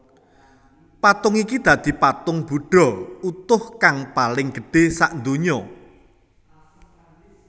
Patung iki dadi patung budha utuh kang paling gedhe sadonya